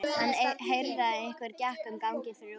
Hann heyrði að einhver gekk um ganginn fyrir utan.